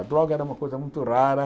A droga era uma coisa muito rara.